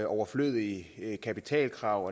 overflødige kapitalkrav